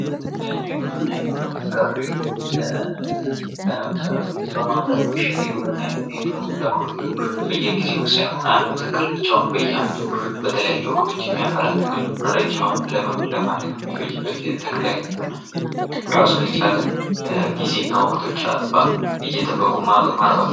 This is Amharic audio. ሌላኛዉ የግብርና አይነት ደግሞ ፍራፍሬ በማምረት የሚሸጥ የግብርና አይነት ነዉ። ይህ ደግሞ ተክሎቹ በየጊዜዉ ሳይሆን አንድ ተክል ብቻዉን በየዓመቱ በተለያየ ወቅት የሚያፈራ ተክል ነዉ። እና ረዥም ዓመትም ለማደግ የሚፈጅበት የተክል አይነት ነዉ። እና ራሱን የቻለ ጊዜና ወቅቶች አሰየጠበቁ ማርባት ነዉ።